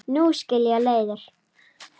Nú skilja leiðir.